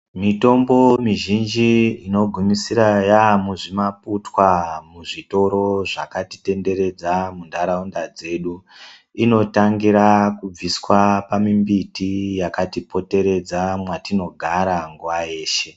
Mitombo mizhinji inogumisira yamuzvimaputwa muzvitoro zvakatitenderedza, muntaraunda dzedu. Inotangira kubviswa pamimbiti yakatipoteredza mwatinogara nguva yeshe.